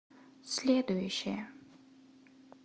следующая